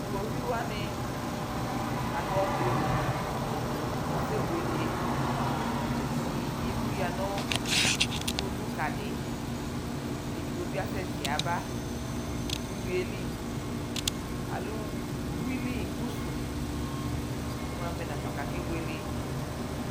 Tʋ iɣoviu wanɩ adʋ ɔkʋ li kʋ asɛbuele Ɛdɩ emu yǝ nʋ iɣoviuka dɩ kʋ edigbo bɩ asɛtɩ yaba nʋ uyui yɛ li Alɛ uyuili pusu Imu avɛ nafa kʋ akebuele